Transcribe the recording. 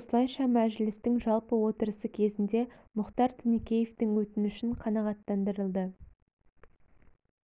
осылайша мәжілістің жалпы отырысы кезінде мұхтар тінікеевтің өтінішін қанағаттандырылды